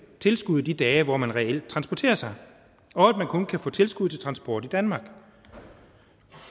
tilskud de dage hvor man reelt transporterer sig og at man kun kan få tilskud til transport i danmark